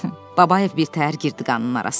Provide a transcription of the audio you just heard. Babayev birtəhər girdi qanının arasına.